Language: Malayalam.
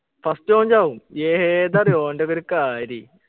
first ഓൻ ചാവും ഏതാ അറിയോ ഓൻ്റെ ഒക്കെ ഒരു കാര്യേ